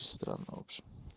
странно в общем